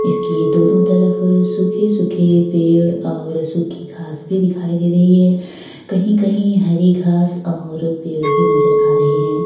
इसकी दोनों तरफ सूखे-सूखे पेड़ और सूखी घांस भी दिखाई दे रही है। कहीं-कहीं हरी घांस और पेड़ भी नजर आ रहे हैं।